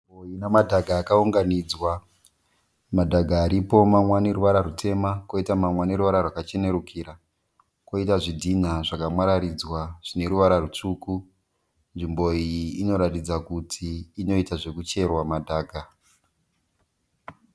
Nzvimbo ine madhaka akaunganidzwa. Madhaka aripo mamwe aneruvara rutema koita mamwe aneruvara rwakachenerukira. Koita zvidhinha zvakamwararidzwa zvine ruvara rutsvuku. Nzvimbo iyi ino ratidza Kuti inoita zvekucherwa madhaka.